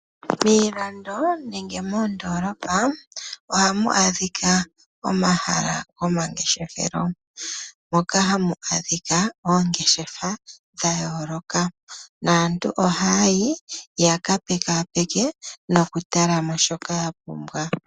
Miilando nenge moondolopa ohamu adhika omahala gomangeshefelo, moka hamu adhika oongeshefa dhayooloka naantu ohaya yi yaka pekaapeke nokutalamo shoka ya pumbwa.